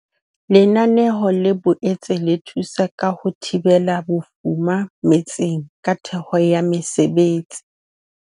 Lenaneo le boetse le thusa ka ho thibela bofuma metseng ka theho ya mesebetsi.